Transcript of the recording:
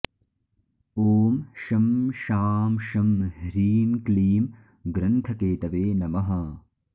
ॐ शं शां षं ह्रीं क्लीं ग्रन्थकेतवे नमः